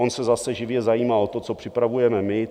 On se zase živě zajímá o to, co připravujeme my.